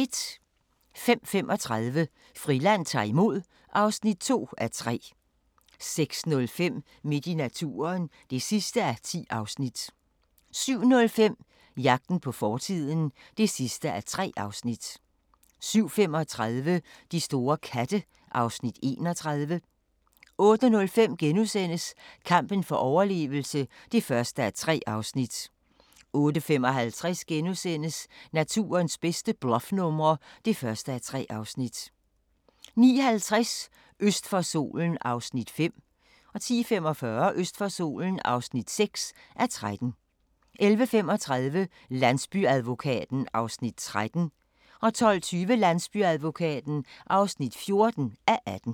05:35: Friland ta'r imod (2:3) 06:05: Midt i naturen (10:10) 07:05: Jagten på fortiden (3:3) 07:35: De store katte (Afs. 31) 08:05: Kampen for overlevelse (1:3)* 08:55: Naturens bedste bluffnumre (1:3)* 09:50: Øst for solen (5:13) 10:45: Øst for solen (6:13) 11:35: Landsbyadvokaten (13:18) 12:20: Landsbyadvokaten (14:18)